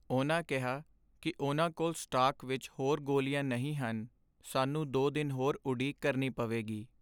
ਉਨ੍ਹਾਂ ਕਿਹਾ ਕੀ ਉਨ੍ਹਾਂ ਕੋਲ ਸਟਾਕ ਵਿੱਚ ਹੋਰ ਗੋਲੀਆਂ ਨਹੀਂ ਹਨ ਸਾਨੂੰ ਦੋ ਦਿਨ ਹੋਰ ਉਡੀਕ ਕਰਨੀ ਪਵੇਗੀ